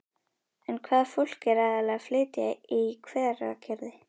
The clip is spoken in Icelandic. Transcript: En hvaða fólk er aðallega að flytja í Hveragerði?